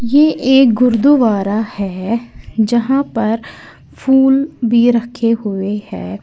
ये एक गुरुद्वारा है जहां पर फूल भी रखे हुए है।